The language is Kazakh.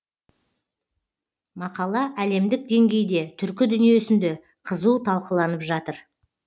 мақала әлемдік деңгейде түркі дүниесінде қызу талқыланып жатыр